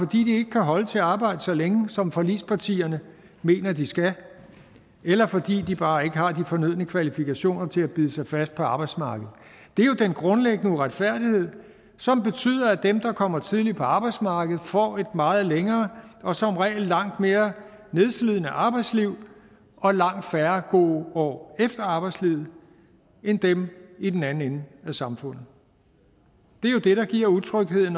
ikke kan holde til at arbejde så længe som forligspartierne mener de skal eller fordi de bare ikke har de fornødne kvalifikationer til at bide sig fast på arbejdsmarkedet det er jo den grundlæggende uretfærdighed som betyder at dem der kommer tidligt på arbejdsmarkedet får et meget længere og som regel langt mere nedslidende arbejdsliv og langt færre gode år efter arbejdslivet end dem i den anden ende af samfundet det er jo det der giver utryghed